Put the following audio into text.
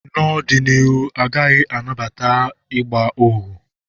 N'ọdịnihu, a gaghị anabata ịgba ohu